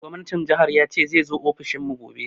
Gwamnatin jihar zai zo ofishin mu gobe